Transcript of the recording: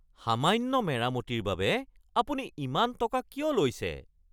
সামান্য মেৰামতিৰ বাবে আপুনি ইমান টকা কিয় লৈছে?